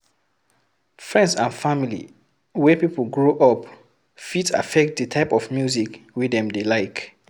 Friends and family wey pipo grow up fit affect di type of music wey dem dey like